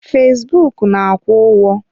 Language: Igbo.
Fesbụụk na-akwụ ụgwọ.